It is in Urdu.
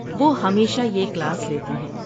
وہ ہمیشہ یہ کلاس لیتی ہیں۔